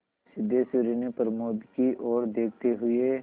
सिद्धेश्वरी ने प्रमोद की ओर देखते हुए